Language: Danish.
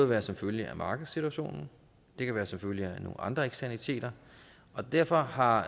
være som følge af markedssituationen det kan være som følge af nogle andre eksternaliteter og derfor har